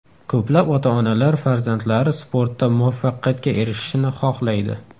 Ko‘plab ota-onalar farzandlari sportda muvaffaqiyatga erishishini xohlaydi.